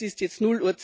Es ist jetzt